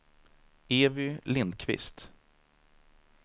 Evy Lindquist